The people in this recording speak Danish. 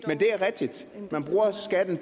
er det